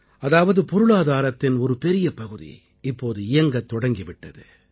அதாவது பொருளாதாரத்தின் ஒரு பெரிய பகுதி இப்போது இயங்கத் தொடங்கி விட்டது